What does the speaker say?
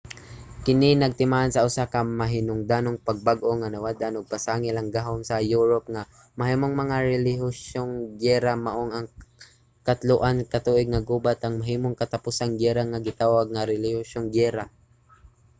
kini nagtimaan sa usa ka mahinungdanong pagbag-o nga nawad-an na og pasangil ang gahom sa europe nga mahimong mga relihiyosong giyera. maong ang katloan ka tuig nga gubat ang mahimong katapusang giyera nga gitawag nga relihiyosong giyera